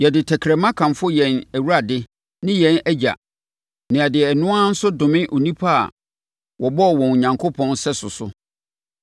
Yɛde tɛkrɛma kamfo yɛn Awurade ne yɛn Agya na yɛde ɛno ara nso adome nnipa a wɔbɔɔ wɔn Onyankopɔn sɛso so.